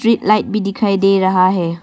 Street light भी दिखाई दे रहा है।